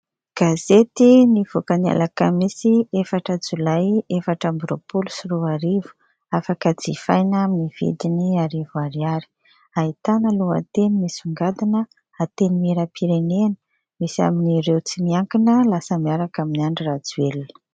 Gazety nivoaka ny alakamisy efatra Jolay efatra ambiroapolo sy roa arivo, afaka jifaina amin'ny vidiny arivo ariary ahitana lohateny misongadina: "Antenimieram-pirenena: misy amin'ireo tsy miankina lasa miaraka amin'i Andry Rajoelina".